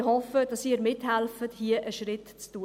Ich hoffe, dass Sie mithelfen, hier einen Schritt zu tun.